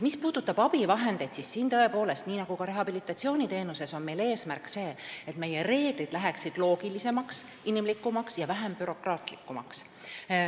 Mis puudutab abivahendeid, siis siin on meil, tõepoolest, nii nagu rehabilitatsiooniteenuse puhul eesmärk see, et meie reeglid läheksid loogilisemaks, inimlikumaks ja vähem bürokraatlikumaks.